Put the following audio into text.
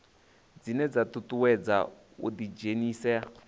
dzine dza ṱuṱuwedza u ḓidzhenisa